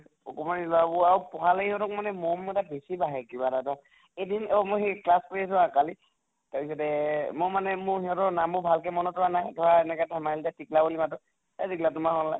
অকমান আৰু পঢ়ালে হিহঁতক মানে মম এটা বেছি বাঢ়ে কিবা এটা দ, এদন অহ মই class কৰি আছিলো হা কালি তাৰ পিছতে মই মানে মোৰ সিহঁতৰ নামবোৰ ভালকে মনত ৰোৱা নাই। ধৰা এনেকে এটা smile দিয়া টিকলা বুলি মাতো। এহ টিকলা তোমাৰ হʼল্নে?